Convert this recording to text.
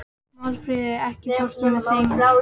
Málfríður, ekki fórstu með þeim?